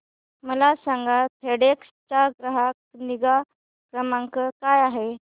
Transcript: मला सांगा फेडेक्स चा ग्राहक निगा क्रमांक काय आहे